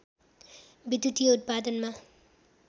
विद्युतीय उत्पादनमा